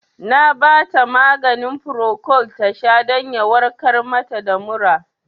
Na bata maganin Procold tasha don ya warkar mata da mura